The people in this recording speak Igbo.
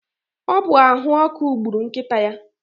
ọ bụ ahụ ọkụ gburu nkịta ya